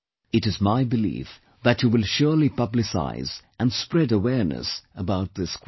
It is my belief that you will surely publicise and spread awareness about this quiz